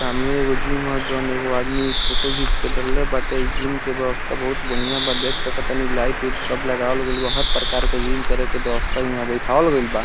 सामने एगो जिम ह जउन एगो आदमी फोटो घिच के डलले बाटे | इ जिम के व्यवस्था बहुत बढ़िया बा | देख सकतानी लाइट उईट सब लगावेल गेल बा | हर प्रकार के जिम करे के व्यवस्था इहां बइठावल गेल बा |